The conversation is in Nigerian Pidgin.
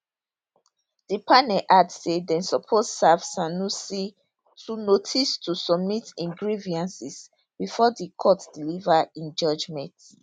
di panel add say dem suppose serve sanusi too notice to submit im grievances bifor di court deliver im judgement